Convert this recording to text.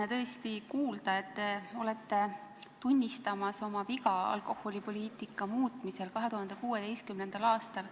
On tõesti sümpaatne kuulda, et te tunnistate oma viga alkoholipoliitika muutmisel 2016. aastal.